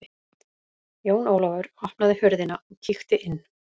Jón Ólafur opnaði hurðina og kíkti inn.